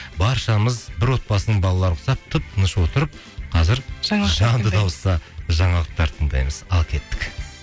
баршамыз бір отбасының балаларына ұқсап тып тыныш отырып қазір жағымды дауыста жаналықтар тыңдаймыз ал кеттік